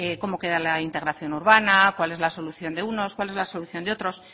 cómo queda la integración urbana cuál es la solución de unos cuál es la solución de otros